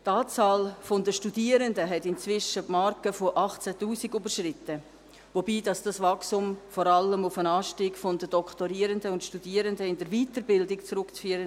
Die Anzahl Studierender hat inzwischen die Marke von 18 000 überschritten, wobei dieses Wachstum vor allem auf den Anstieg von Doktorierenden und Studierenden in der Weiterbildung zurückzuführen.